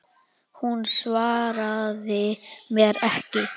Hún svaraði mér ekki.